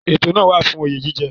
Ètò náà tún wà fún oyè jíjẹ.